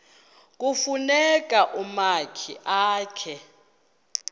kufuna umakhi akhe